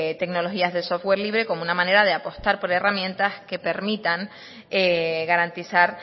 tecnologías de software libre como una manera de apostar por herramientas que permitan garantizar